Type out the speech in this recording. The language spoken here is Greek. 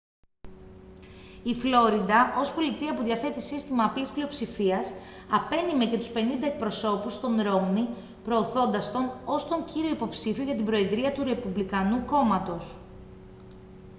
η φλόριντα ως πολιτεία που διαθέτει σύστημα απλής πλειοψηφίας απένειμε και τους πενήντα εκπροσώπους στον ρόμνι προωθώντας τον ως τον κύριο υποψήφιο για την προεδρία του ρεπουμπλικανικού κόμματος